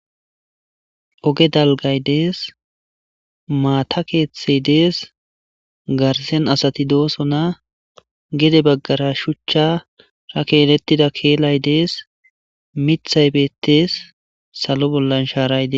Oge dalgay dees maata keeththey dees garsen asati dooso na gede baggara shuchcha ra keelettida keelay dees mithay beettees salo bollan shaaray dee